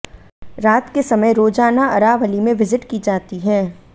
रात के समय रोजाना अरावली में विजिट की जाती है